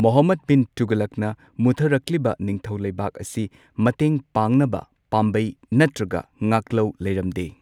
ꯃꯨꯍꯝꯃꯗ ꯕꯤꯟ ꯇꯨꯒꯂꯛꯅ ꯃꯨꯠꯊꯔꯛꯂꯤꯕ ꯅꯤꯡꯊꯧ ꯂꯩꯕꯥꯛ ꯑꯁꯤ ꯃꯇꯦꯡ ꯄꯥꯡꯅꯕ ꯄꯥꯝꯕꯩ ꯅꯠꯇ꯭ꯔꯒ ꯉꯥꯛꯂꯧ ꯂꯩꯔꯝꯗꯦ꯫